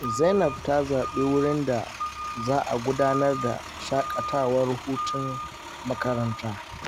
Zainab ta zaɓi wurin da za a gudanar da shakatawar hutun makaranta.